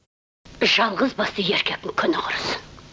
жалғыз басты еркектің күні құрысын